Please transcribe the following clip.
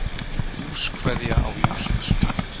Húskveðja á Jónsmessunótt